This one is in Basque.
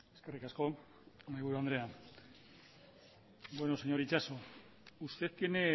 eskerrik asko mahaiburu andrea señor itxaso usted tiene